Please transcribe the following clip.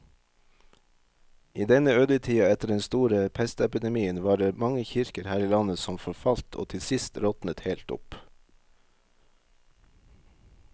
I denne ødetida etter den store pestepidemien var det mange kirker her i landet som forfalt og til sist råtnet helt opp.